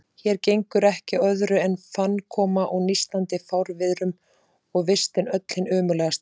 Hér gengur ekki á öðru en fannkomu og nístandi fárviðrum, og vistin öll hin ömurlegasta.